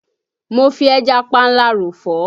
Mo fi ẹja panla ròfọ́